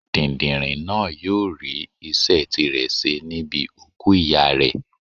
Dìndìnrìn náà yóò rí iṣẹ́ tirẹ̀ ṣe níbi òkú ìyá rẹ̀.